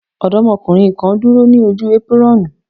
Ọdọ́mọdékùnrin kan dúró ní ojú épírọ́ọ̀nù.